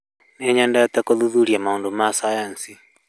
Nĩ nyendete gũthuthuria maundũ masayansi